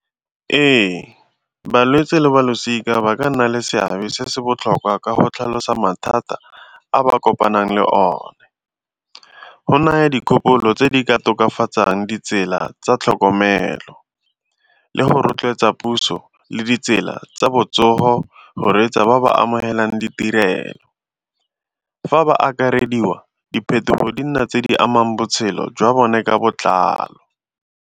Ee, balwetsi le ba losika ba ka nna le seabe se se botlhokwa ka go tlhalosa mathata a ba kopanang le one. Go naya dikgopolo tse di ka tokafatsang ditsela tsa tlhokomelo le go rotloetsa puso le ditsela tsa botsogo go reetsa ba ba amogelang ditirelo. Fa ba akarediwa diphetogo di nna tse di amang botshelo jwa bone ka botlalo.